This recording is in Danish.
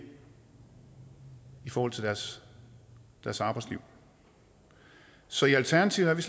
i forhold til deres deres arbejdsliv så i alternativet er vi